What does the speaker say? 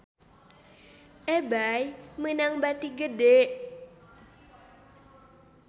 Ebay meunang bati gede